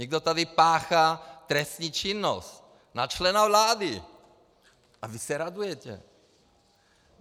Někdo tady páchá trestnou činnost na členy vlády, a vy se radujete.